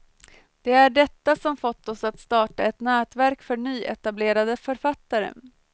Det är detta som fått oss att starta ett nätverk för nyetablerade författare.